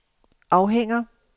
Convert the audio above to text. afhænger